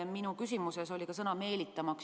Minu küsimuses kõlas ka sõna "meelitama".